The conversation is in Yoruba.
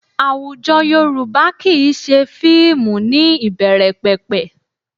Àwùjọ Yorùbá kì í ṣe fíìmù ní ìbẹ̀rẹ̀pẹ̀pẹ̀